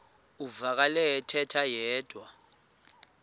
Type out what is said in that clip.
uvakele ethetha yedwa